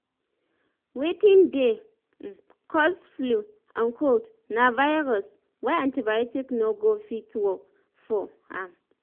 wetin dey um cause flu and cold na virus na y antibiotic no go fit work for um am